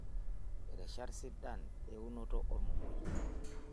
Rishat sidain eunoto ormomoi